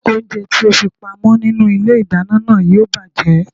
Oúnjẹ tí o fi pa mọ́ nínú ilé ìdáná náà yóò bàjẹ́